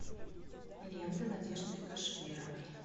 лента надежды кашеверовой